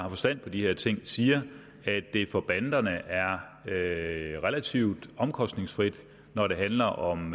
har forstand på de her ting siger at det for banderne er relativt omkostningsfrit når det handler om